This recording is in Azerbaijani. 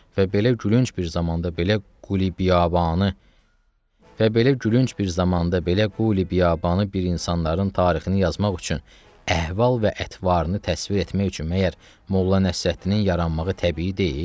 Və belə gülünc bir zamanda belə Qulubiyanı Və belə gülünc bir zamanda belə Qulubiyanı bir insanların tarixini yazmaq üçün, əhval və ətvarını təsvir etmək üçün məgər Molla Nəsrəddinin yaranmağı təbii deyil?